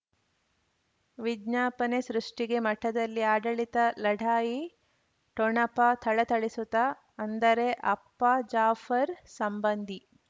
ವಿಜ್ಞಾಪನೆ ಸೃಷ್ಟಿಗೆ ಮಠದಲ್ಲಿ ಆಡಳಿತ ಲಢಾಯಿ ಠೊಣಪ ಥಳಥಳಿಸುತ ಅಂದರೆ ಅಪ್ಪ ಜಾಫರ್ ಸಂಬಂಧಿ